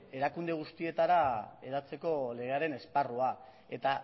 erakunde guztietara hedatzeko legearen esparrua eta